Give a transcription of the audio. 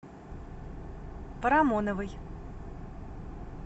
парамоновой